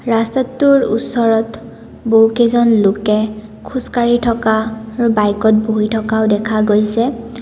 ৰস্তাটোৰ ওচৰত বহুকেইজন লোকে খোজকাঢ়ি থকা আৰু বাইকত বহি থকাও দেখা গৈছে।